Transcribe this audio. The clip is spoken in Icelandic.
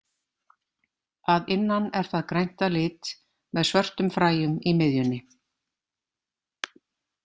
Að innan er það grænt að lit með svörtum fræjum í miðjunni.